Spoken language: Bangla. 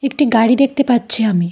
একটি গাড়ি দেখতে পাচ্ছি আমি।